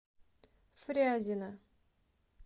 фрязино